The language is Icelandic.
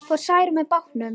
Fór Særún með bátnum.